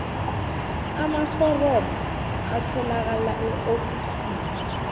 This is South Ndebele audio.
amaforomo atholakala eofisini